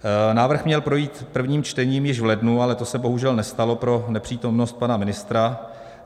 Návrh měl projít prvním čtením již v lednu, ale to se bohužel nestalo pro nepřítomnost pana ministra.